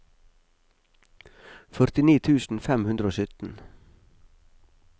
førtini tusen fem hundre og sytten